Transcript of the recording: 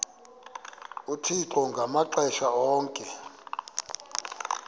uthixo ngamaxesha onke